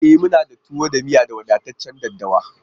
E! muna da tuwo da miyan da wadataccen daɗɗawa a ciki.